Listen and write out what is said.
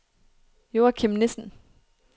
Joachim Nissen